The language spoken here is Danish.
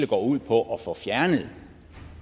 går ud på at få fjernet